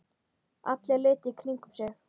Allir litu í kringum sig.